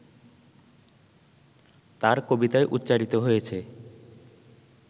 তাঁর কবিতায় উচ্চারিত হয়েছে